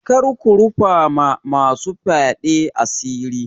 Kar ku rufa ma masu fyaɗe asiri.